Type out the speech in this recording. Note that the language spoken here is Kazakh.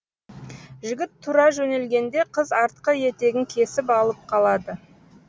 жігіт тұра жөнелгенде қыз артқы етегін кесіп алып қалады